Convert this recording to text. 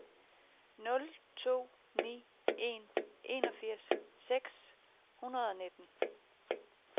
nul to ni en enogfirs seks hundrede og nitten